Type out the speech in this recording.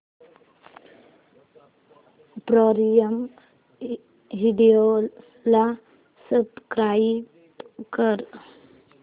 prime video ला subscribe कर